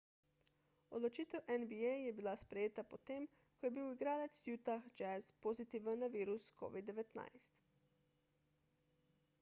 odločitev nba je bila sprejeta potem ko je bil igralec utah jazz pozitiven na virus covid-19